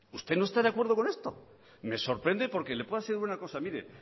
usted no está de acuerdo con esto me sorprende porque le puedo asegurar una cosa mire